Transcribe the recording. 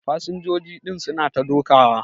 Fasinjoji din su na ta dokawa.